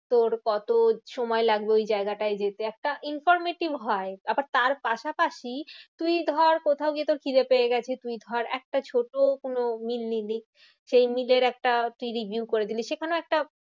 তোর কত সময় লাগবে ওই জায়গাটায় যেতে? একটা informative হয়। আবার তার পাশাপাশি তুই ধর কোথাও গিয়ে তোর খিদে পেয়ে গেছে তুই ধর একটা ছোট কোনো meal নিলি। সেই meal এর একটা review করে দিলি। সেখানেও একটা